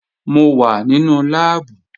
Mo wà nínú láàbù